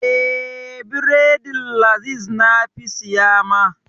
Eh, bredin laziz na fi siya ma.